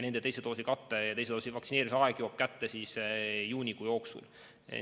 Nende teise doosi aeg jõuab kätte juunikuu jooksul.